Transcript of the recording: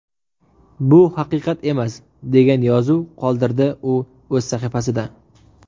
Bu haqiqat emas”, degan yozuv qoldirdi u o‘z sahifasida.